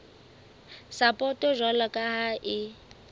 sapoto jwalo ka ha e